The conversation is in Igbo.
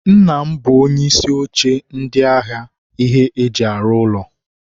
Nna m bụ onye isi oche ndi ahịa ihe e ji arụ ụlọ.